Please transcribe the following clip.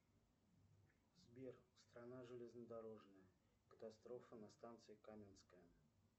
сбер страна железнодорожная катастрофа на станции каменская